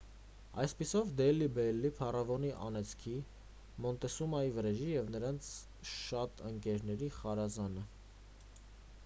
այսպիսով դելհի բելլիի փարավոնի անեծքի մոնտեսումայի վրեժի և նրանց շատ ընկերների խարազանը